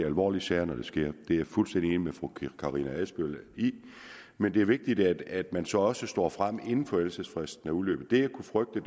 alvorlige sager når der sker det er jeg fuldstændig enig med fru karina adsbøl i men det er vigtigt at man så også står frem inden forældelsesfristen er udløbet det jeg kunne frygte